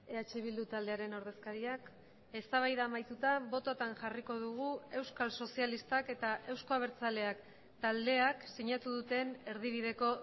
eh bildu taldearen ordezkariak eztabaida amaituta bototan jarriko dugu euskal sozialistak eta euzko abertzaleak taldeak sinatu duten erdibideko